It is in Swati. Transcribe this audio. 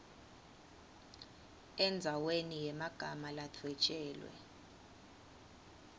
endzaweni yemagama ladvwetjelwe